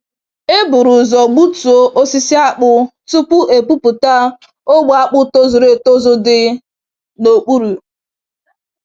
E buru ụzọ gbutuo osisi akpụ tupu epupụta ogbe akpụ tozuru etozu dị n'okpuru.